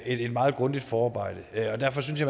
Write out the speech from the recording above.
et meget grundigt forarbejde og derfor synes